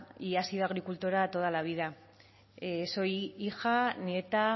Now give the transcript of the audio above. y ha sido agricultora toda la vida soy hija nieta